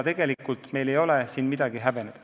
Tegelikult meil ei ole midagi häbeneda.